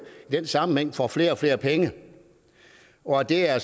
i den sammenhæng får flere og flere penge og at det er